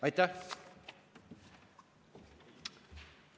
Aitäh!